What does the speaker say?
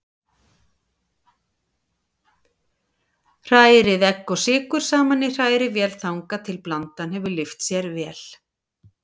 Hrærið egg og sykur saman í hrærivél þangað til blandan hefur lyft sér vel.